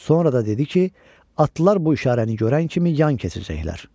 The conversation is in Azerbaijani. Sonra da dedi ki, atlılar bu işarəni görən kimi yan keçəcəklər.